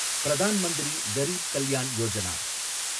Pradhan Mantri Garib Kalyan Yojana